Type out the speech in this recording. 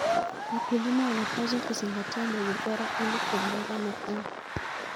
Wakulima wanapaswa kuzingatia mbegu bora ili kuongeza mavuno.